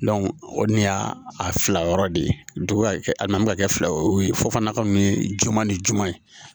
o ni y'a fila yɔrɔ de ye dugu ka kɛ a nan'a kɛ fila ye o ye fɔ fana kun ye juguman ni juma ye